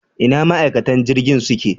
Ina ma'aikatan jirgin suke